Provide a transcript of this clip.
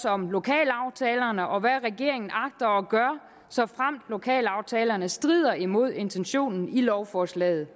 om lokalaftalerne og hvad regeringen agter at gøre såfremt lokalaftalerne strider imod intentionen i lovforslaget